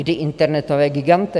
Kdy internetové giganty?